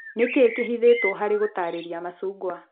Nĩ kĩĩ kĩhithĩtwo harĩ gũtaarĩria macungwa